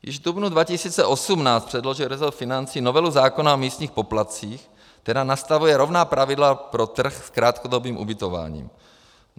Již v dubnu 2018 předložil resort financí novelu zákona o místních poplatcích, která nastavuje rovná pravidla pro trh s krátkodobým ubytováním.